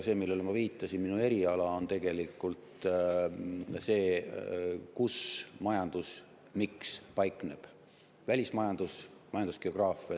See, millele ma viitasin, on see, et minu eriala on tegelikult selline, kus majanduse miks paikneb – välismajandus, majandusgeograafia.